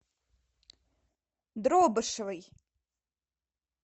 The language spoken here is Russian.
дробышевой